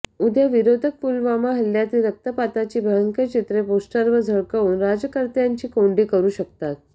उद्या विरोधक पुलवामा हल्ल्यातील रक्तपाताची भयंकर चित्रे पोष्टरवर झळकवून राज्यकर्त्यांची कोंडी करू शकतात